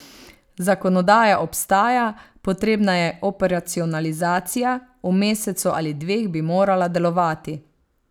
Zakonodaja obstaja, potrebna je operacionalizacija, v mesecu ali dveh bi morala delovati.